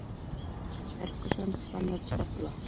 Ferguson bannar trefla